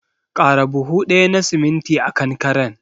Ƙara buhu ɗaya na siminti a kankaren.